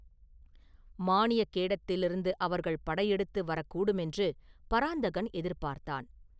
மானிய கேடத்திலிருந்து அவர்கள் படையெடுத்து வரக் கூடுமென்று பராந்தகன் எதிர்பார்த்தான்.